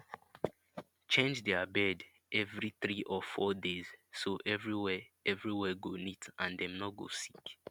change their bed every three or four days so everywhere everywhere go neat and dem no go sick